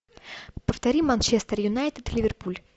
повтори манчестер юнайтед ливерпуль